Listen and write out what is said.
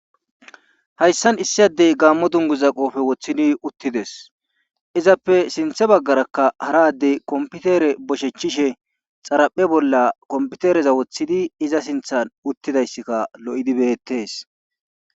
Hayssan issi addey gaammo dungguza qoofe wothidi uttise izappe sinthe baggarakka hara addey komppitere boshechishe xaraphe bollakomppitereza wothidayssika lo7idi beettees.